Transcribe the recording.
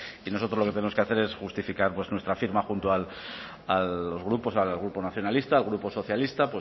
y nosotros lo que tenemos que hacer es justificar nuestra firma junto a los grupos el grupo nacionalistas el grupo socialistas